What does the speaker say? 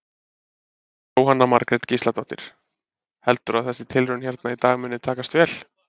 Jóhanna Margrét Gísladóttir: Heldurðu að þessi tilraun hérna í dag muni takast vel?